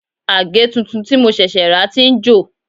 Àgè tuntun tí mo ṣẹ̀ṣẹ̀ rà ti ń jò